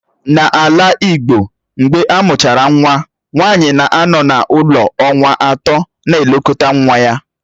N'ala igbo, mgbe amụchara nwa nwanyi na-anọ n'ụlọ ọnwa atọ na-elekọta nwa ya